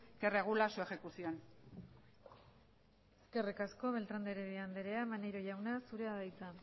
que regula su ejecución eskerrik asko beltrán de heredia andrea maneiro jauna zurea da hitza